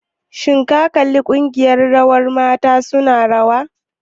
Shin ka kalli ƙungiyar rawar mata su na rawa?